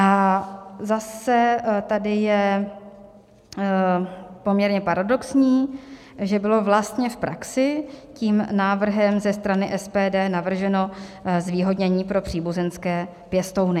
A zase tady je poměrně paradoxní, že bylo vlastně v praxi tím návrhem ze strany SPD navrženo zvýhodnění pro příbuzenské pěstouny.